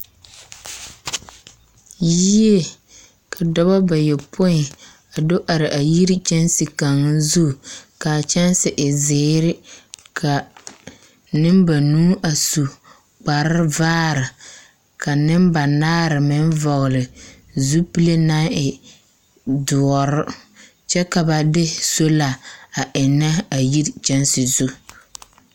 Yie, ka dɔbɔ bayɔpoi a do are a yiri kyɛnse kaŋa zu, kaa kyɛnse e zeere, ka nembanuu a su kpare vaare, ka nembanaare meŋ a vɔɔle zupile naŋ e doɔre, kyɛ ka ba de soola a ennɛ a yiri kyɛnse zu.